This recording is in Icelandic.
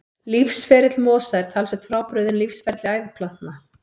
Lífsferill mosa er talsvert frábrugðinn lífsferli æðplantna.